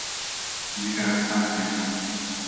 Nekaj abstraktnega.